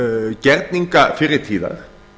gerningar fyrri tíðar